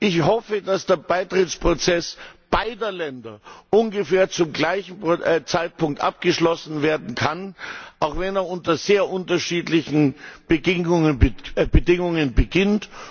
Ich hoffe, dass der Beitrittsprozess beider Länder ungefähr zum gleichen Zeitpunkt abgeschlossen werden kann, auch wenn er unter sehr unterschiedlichen Bedingungen beginnt.